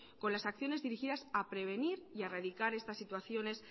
con las acciones dirigidas a prevenir y a erradicar estas situaciones